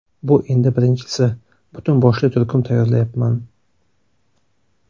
Bu endi birinchisi, butun boshli turkum tayyorlayapman.